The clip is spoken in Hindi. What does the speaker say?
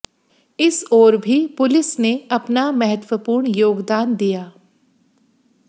इस ओर भी पुलिस ने अपना महत्त्वपूर्ण योगदान दिया